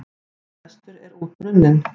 Sá frestur er út runninn.